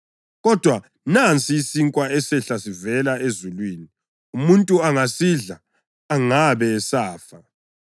Kodwa nansi isinkwa esehla sivela ezulwini, umuntu angasidla angabe esafa.